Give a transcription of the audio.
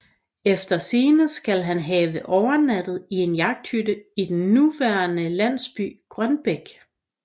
Efter sigende skal han have overnattet i en jagthytte i den nuværende landsby Grønbæk